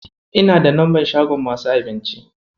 Ina da lambar shagon masu abinci.